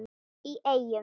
í Eyjum.